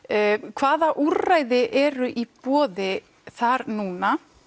hvaða úrræði eru í boði þar núna